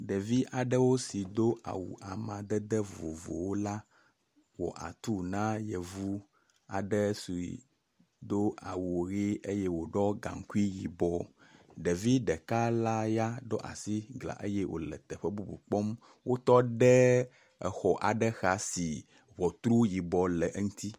Ɖevi aɖewo si do awu amadede vovovowo wɔ atu na yevu aɖe si do awu ʋɛ̃, eye wòɖɔ gaŋkui yibɔ. Ɖevi ɖeka la ya aɖo asi gla eye wòle teƒe bubu kpɔm, wotɔ ɖe exɔ aɖe xa si ŋɔtru yibɔ le eŋuti.